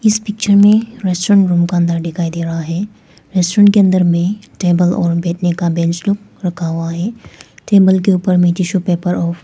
इस पिक्चर में restaurant room का अंदर दिखाई दे रहा है रेस्टोरेंट के अंदर में टेबल और बैठने का बेंच लोग रखा हुआ है टेबल के ऊपर में टिशू पेपर और--